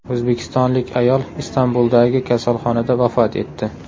O‘zbekistonlik ayol Istanbuldagi kasalxonada vafot etdi.